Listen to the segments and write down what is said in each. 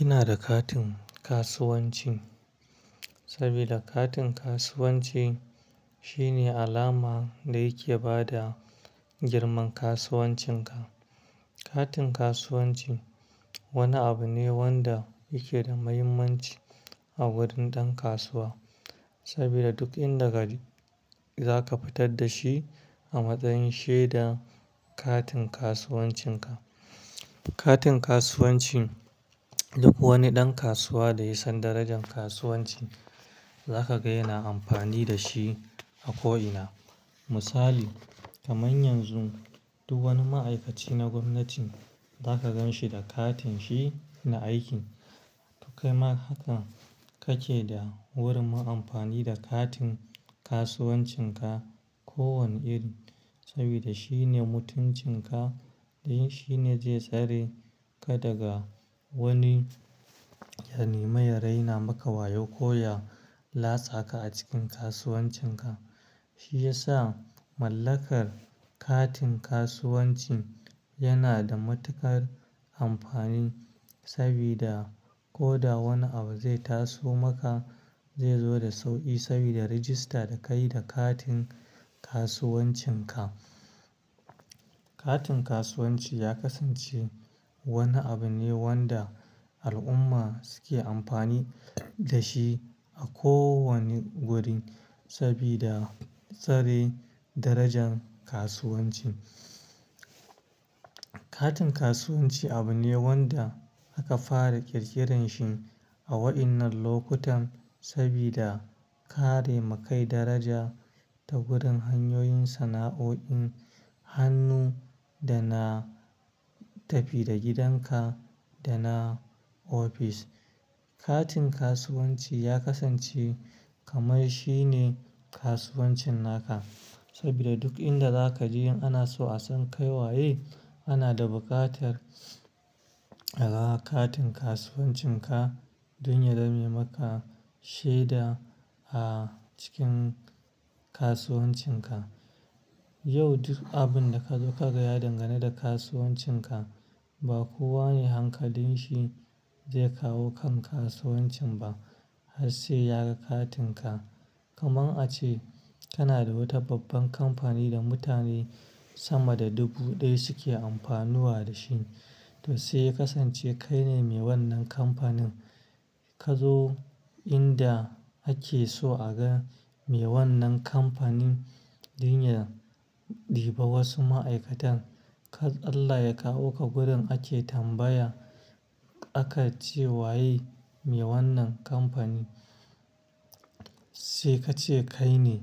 Ina da katin kasuwanci saboda katin kasuwanci shine alama da yake ba da girman kasuwancinka. Katin kasuwanci wani abu ne wanda yake da mahimmanci a wurin ɗan kasuwa saboda duk inda ka je za ka fitar da shi a matsayin shaidar katin kasuwancinka. Katin kasuwanci duk wani ɗan kasuwa da ya san darajar kasuwanci za ka ga yana amfani da shi a ko'ina. Misali, kamar yanzu duk wani ma'aikaci na gwamnati za ka gan shi da katin shi na aikin. Kai ma hakan kake da burin yin amfani da katin kasuwancinka ko wane iri saboda shine mutuncinka don shine zai tsare ka daga wani ya nema ya raina maka wayau ko ya lasa ka a cikin kasuwancinka. Shi ya sa mallakar katin kasuwanci yana da matuƙar amfani saboda ko da wani abu zai taso maka zai zo da sauƙi saboda rajista da kayi da katin kasuwancinka. Katin kasuwanci ya kasance wani abu ne wanda al'umma suke amfani da shi a ko wani wuri saboda kare darajar kasuwanci. Katin kasuwanci abu ne wanda aka fara ƙirƙirarsa a waɗannan lokutan saboda karewa kai daraja ta wurin hanyoyin sana'o'in hannu da na tafi-da-gidanka da na ofis. Katin kasuwanci ya kasance kamar shi ne kasuwancin naka saboda duk inda za ka je in ana so a san kai waye. Ana da buƙatar a ga katin kasuwancinka don ya zame maka shaida a cikin kasuwancinka. Yau duk abin da ka zo ka fada dangane da kasuwancinka ba kowa ba ne hankalin sa zai kawo kan kasuwancin ba har sai ya ga katinka. Kamar ace kana da wata babbar kamfani da mutane sama da dubu ɗaya suke amfana da shi to sai ya kasance kai ne mai wannan kamfanin. Ka zo inda ake so a ga mai wannan kamfanin don ya ɗauki wasu ma'aikatan. Allah ya kiyaye ya kawo ka wurin ake tambaya aka ce maka wanene mai wannan kamfani sai ka ce kai ne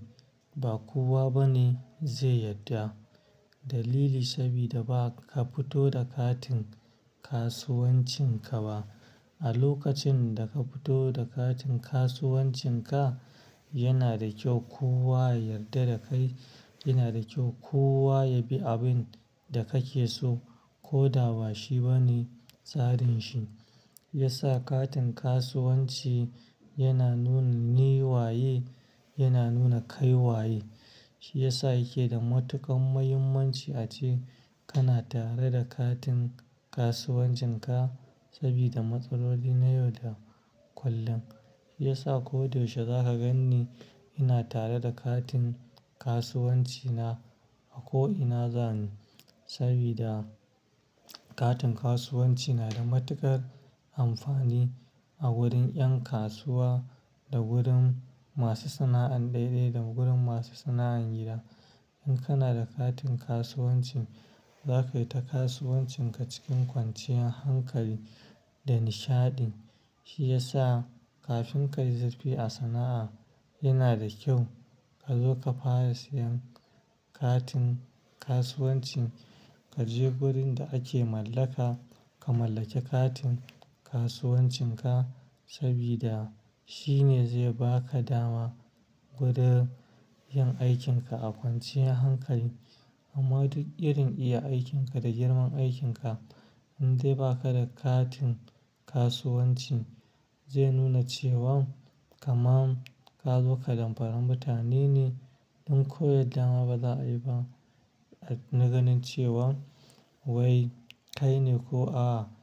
ba kowa bane zai yarda. Dalili saboda ba ka fito da katin kasuwancinka ba. A lokacin da ka fito da katin kasuwancinka yana da kyau kowa ya yarda da kai, yana da kyau kowa ya bi abin da kake so ko da ba shi bane tsarin sa. Ya sa katin kasuwanci yana nuna ni waye, yana nuna kai waye. Shi ya sa yake da matuƙar mahimmanci a ce kana tare da katin kasuwancinka saboda matsaloli na yau da kullum. Ya sa ko da yaushe za ka gan ni ina tare da katin kasuwancina a ko'ina zan je saboda katin kasuwanci yana da matuƙar amfani a wurin 'yan kasuwa da wurin masu sana'ar daidai da gurin masu sana'an gida. Idan kana da katin kasuwanci za ka yi ta kasuwancinka cikin kwanciyar hankali da nishaɗi. Shi ya sa kafin ka yi zurfi a sana'a yana da kyau ka zo ka fara sayen katin kasuwanci. Ka je wurin da ake mallaka ka mallake katin kasuwancinka saboda shi ne zai ba ka dama wurin yin aikinka a kwanciyar hankali. Amma duk irin iya aikinka da girman aikinka in dai ba ka da katin kasuwanci zai nuna cewan kamar ka zo ka damfari mutane ne don koyar da ma ba za a yi ba na ga nin cewa wai kai ne ko a.